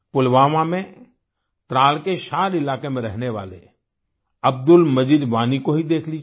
पुलवामा में त्राल के शार इलाके के रहने वाले अब्दुल मजीद वानी को ही देख लीजिए